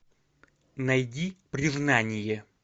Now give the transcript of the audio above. найди признание